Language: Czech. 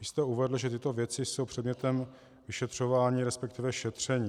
Vy jste uvedl, že tyto věci jsou předmětem vyšetřování, respektive šetření.